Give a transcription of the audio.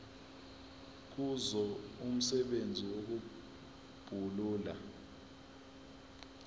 kuzo umsebenzi wokubulala